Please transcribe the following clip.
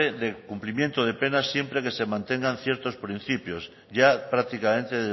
de cumplimiento de pena siempre que se mantengan ciertos principios ya prácticamente